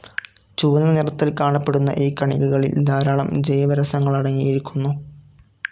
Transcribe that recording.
ചുവന്ന നിറത്തിൽ കാണപ്പെടുന്ന ഈ കണികകളിൽ ധാരാളം ജൈവരസങ്ങളടങ്ങിയിരിക്കുന്നു.